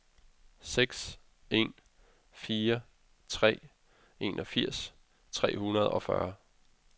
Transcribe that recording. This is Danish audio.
seks en fire tre enogfirs tre hundrede og fyrre